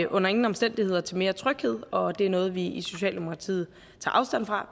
under ingen omstændigheder til mere tryghed og er noget vi i socialdemokratiet tager afstand fra